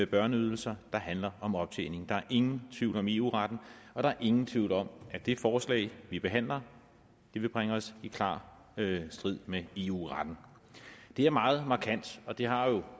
børneydelser og som handler om optjening der er ingen tvivl om eu retten og der er ingen tvivl om at det forslag vi behandler vil bringe os i klar strid med eu retten det er meget markant og det har jo